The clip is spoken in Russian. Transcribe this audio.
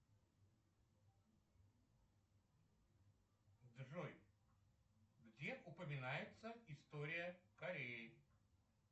джой где упоминается история кореи